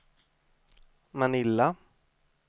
Manila